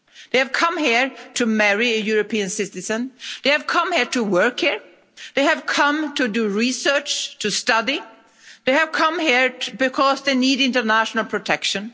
They have come here to marry a European citizen, they have come here to work here, they have come to do research, to study, they have come here because they need international protection.